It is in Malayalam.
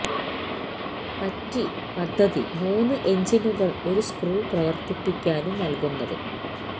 പറ്റി പദ്ധതി മൂന്ന് എഞ്ചിനുകൾ ഒരു സ്ക്രൂ പ്രവർത്തിപ്പിക്കാനും നൽകുന്നത്